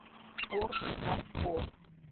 порт харкорт